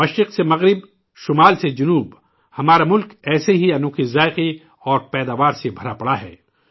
مشرق سے مغرب ، شمال سے جنوب ہمارا ملک ایسے ہی انوکھے ذائقوں اور پیداوار سے بھر پور ہے